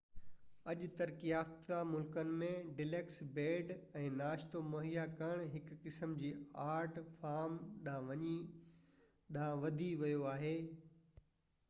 اڄ ترقي يافته ملڪن ۾ ڊيلڪس بيڊ ۽ ناشتو مهيا ڪرڻ هڪ قسم جي آرٽ فارم ڏانهن وڌي ويو آهي